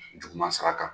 Juguman sira kan